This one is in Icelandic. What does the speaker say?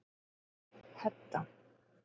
Hedda